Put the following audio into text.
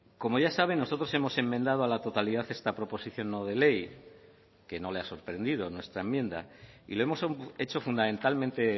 como ya saben nosotros hemos enmendado a la totalidad esta proposición no de ley que no le ha sorprendido nuestra enmienda y lo hemos hecho fundamentalmente